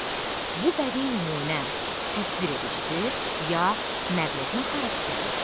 Bu bədii nümunə təsviredicidir ya nəql etmə xarakterlidir?